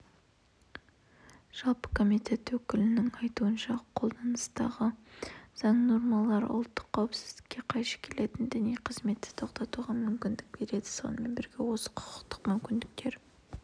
жалпы комитет өкілінің айтуынша қолданыстағы заң нормалары ұлттық қауіпсіздікке қайшы келетін діни қызметті тоқтатуға мүмкіндік береді сонымен бірге осы құқықтық мүмкіндіктер